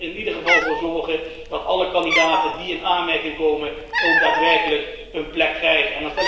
We moeten er echter wel voor zorgen dat alle kandidaten die in aanmerking komen, ook daadwerkelijk een plek krijgen.